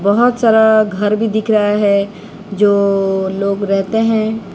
बहोत सारा घर भी दिख रहा है जो लोग रेहते हैं।